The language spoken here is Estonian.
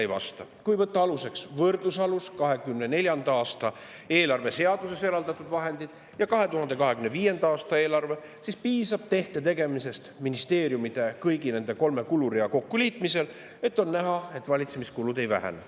Kui võtta võrdlusaluseks 2024. aasta eelarveseaduses eraldatud vahendid ja 2025. aasta eelarvega, siis piisab tehte tegemisest, ministeeriumide kõigi nende kolme kulurea kokkuliitmisest, et näha, et valitsemiskulud ei vähene.